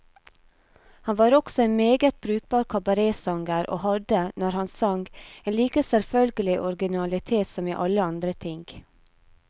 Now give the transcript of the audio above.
Han var også en meget brukbar kabaretsanger, og hadde, når han sang, en like selvfølgelig originalitet som i alle andre ting.